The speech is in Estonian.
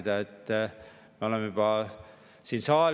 Õnneks seda juttu võeti tõe pähe ja siis lõpuks istuti ka pangainimestega maha.